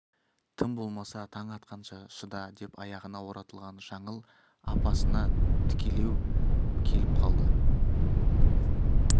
тым болмаса таң атқанша шыда деп аяғына оратылған жаңыл апасына тікелеу келіп қалды